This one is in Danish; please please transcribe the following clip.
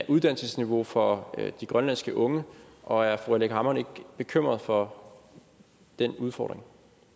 uddannelsesniveauet for de grønlandske unge og er fru aleqa hammond ikke bekymret for den udfordring